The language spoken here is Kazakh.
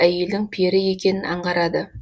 әйелдің пері екенін аңғарады